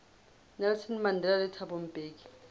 nelson mandela le thabo mbeki